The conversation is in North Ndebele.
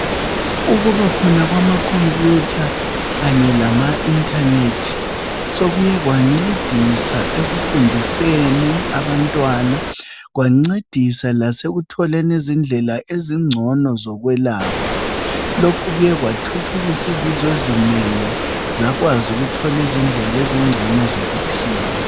Ukubakhona kwama computer kanye lama internet sokuye kwancedisa ekufundiseni abantwana kwancedisa lasekutholeni izindlela ezingcono zokwelapha lokhu sokubuye kwathuthukisa izizwe ezinengi zakwazi ukuthola izindlela ezingcono zokuphila.